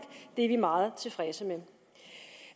det er vi meget tilfredse med